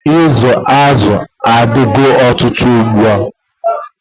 Izu azụ adigo ọtụtụ ugbua.